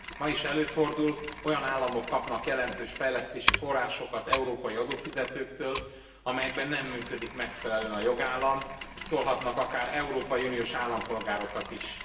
Ma is előfordul, hogy olyan államok kapnak jelentős fejlesztési forrásokat európai adófizetőktől, amelyekben nem működik megfelelően a jogállam, sőt, meghurcolhatnak akár európai uniós állampolgárokat is.